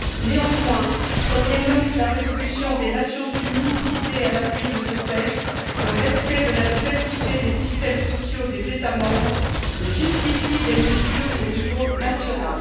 Néanmoins, comme l'énonce la résolution des Nations unies, citée à l'appui de ce texte, le respect de la diversité des systèmes sociaux des États membres justifie des mesures au niveau national.